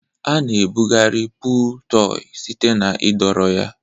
A-na ebugharị pụụl tọị site na ịdọrọ ya.